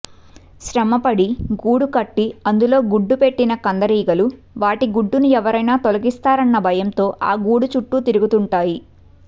శ్రమపడి గూడు కట్టి అందులో గుడ్డుపెట్టిన కందిరీగలు వాటి గూడును ఎవరైనా తొలగిస్తారన్న భయంతో ఆ గూడు చుట్టూ తిరుగుతుంటాయి